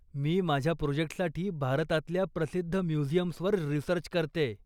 मी माझ्या प्रोजेक्टसाठी भारतातल्या प्रसिद्ध म्युझियम्सवर रिसर्च करतेय.